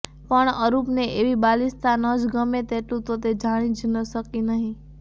પણ અરૂપને એવી બાલિશતા ન જ ગમે તેટલું તો તે જાણી જ શકી હતી